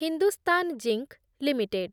Hindustan zinc limited